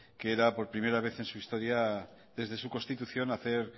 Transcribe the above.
que era por primera vez en su historia desde su constitución hacer